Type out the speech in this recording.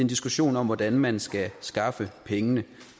diskussion om hvordan man skal skaffe pengene